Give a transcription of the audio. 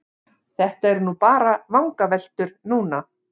Þetta eru bara vangaveltur núna.